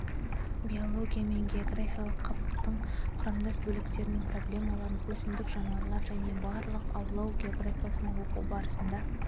биологиямен географиялық қабықтың құрамдас бөліктерінің проблемаларын өсімдік жануарлар және балық аулау географиясын оқу барысында